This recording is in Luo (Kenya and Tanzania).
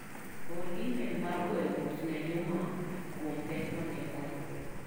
Or imel mar goyo mos ne Juma kuom pek mane oyudo